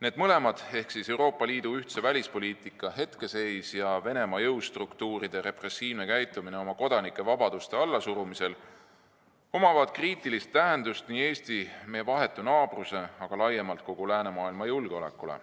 Need mõlemad – Euroopa Liidu ühtse välispoliitika hetkeseis ja Venemaa jõustruktuuride repressiivne käitumine oma kodanike vabaduste allasurumisel – omavad kriitilist tähendust nii Eesti, meie vahetu naabruse kui ka laiemalt kogu läänemaailma julgeolekule.